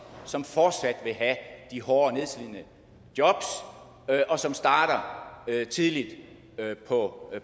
som fortsat vil have de hårde nedslidende jobs og som starter tidligt på